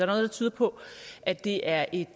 der tyder på at det er et